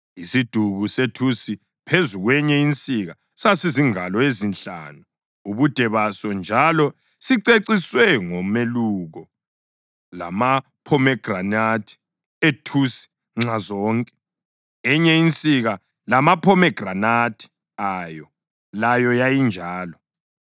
Isiduku sethusi phezu kwenye insika sasizingalo ezinhlanu ubude baso njalo siceciswe ngomeluko lamaphomegranathi ethusi nxazonke. Enye insika, lamaphomegranathi ayo, layo yayinjalo.